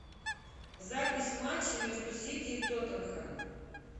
запись матча между сити и тоттенхэм